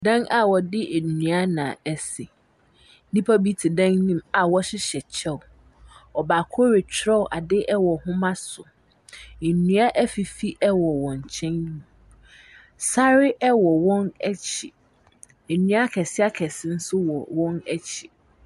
Dan a wɔde nnua na esi. Nnipa bi te dan no mu a wɔhyeyhɛ kyɛw. Ɔbaako retwerɛ ade ɛwɔ nhoma so. Nnua efifi ɛwɔ wɔn nkyɛn. Sare ɛwɔ wɔn akyi. Nnua akɛse akɛse nso wɔ wɔn akyi.